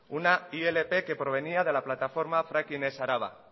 una ilp que provenía de la plataforma fracking ez araba